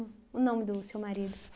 O nome do seu marido?